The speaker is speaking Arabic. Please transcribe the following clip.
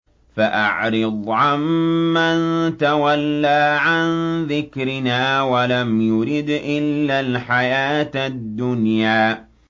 فَأَعْرِضْ عَن مَّن تَوَلَّىٰ عَن ذِكْرِنَا وَلَمْ يُرِدْ إِلَّا الْحَيَاةَ الدُّنْيَا